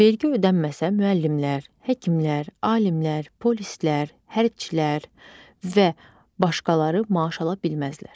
Vergi ödənməsə müəllimlər, həkimlər, alimlər, polislər, hərbçilər və başqaları maaş ala bilməzlər.